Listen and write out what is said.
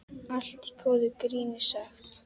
Allt í góðu gríni sagt.